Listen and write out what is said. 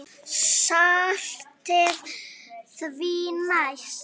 Saltið því næst.